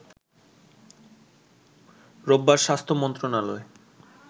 রোববার স্বাস্থ্য মন্ত্রণালয়